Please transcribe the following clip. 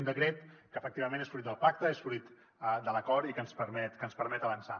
un decret que efectivament és fruit del pacte és fruit de l’acord i que ens permet avançar